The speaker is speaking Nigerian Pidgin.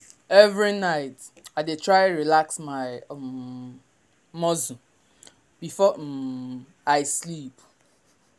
every night i dey try relax my um muscle before um i sleep.